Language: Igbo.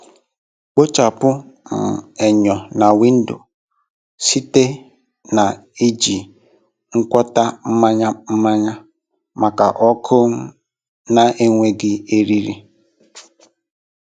Kpochapụ um enyo na windo site na iji ngwọta mmanya mmanya maka ọkụ um na-enweghị eriri.